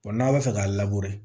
n'a bɛ fɛ k'a